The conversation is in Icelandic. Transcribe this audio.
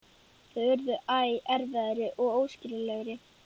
Þau urðu æ erfiðari og óskiljanlegri.